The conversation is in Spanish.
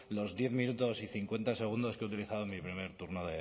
los diez minutos y cincuenta segundos que he utilizado en mi primer turno